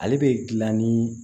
Ale bɛ dilan ni